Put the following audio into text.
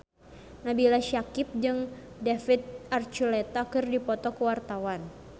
Nabila Syakieb jeung David Archuletta keur dipoto ku wartawan